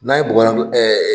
N'a ye bɔgɔlan ko